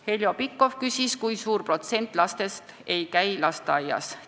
Heljo Pikhof küsis, kui suur protsent lastest ei käi lasteaias.